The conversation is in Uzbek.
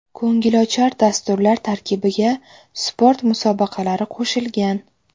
Ko‘ngilochar dasturlar tarkibiga sport musobaqalari qo‘shilgan.